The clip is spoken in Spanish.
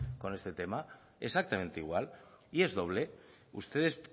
con este tema exactamente igual y es doble ustedes